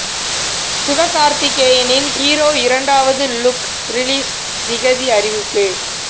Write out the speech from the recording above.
சிவகார்த்திகேயனின் hero இரண்டாவது look release திகதி அறிவிப்பு